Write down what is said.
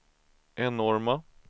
enorma